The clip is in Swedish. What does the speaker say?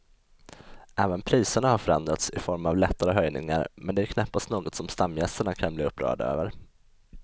Även priserna har förändrats i form av lättare höjningar men det är knappast något som stamgästerna kan bli upprörda över.